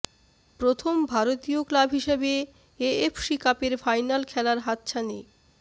প্রথম ভারতীয় ক্লাব হিসাবে এএফসি কাপের ফাইনাল খেলার হাতছানি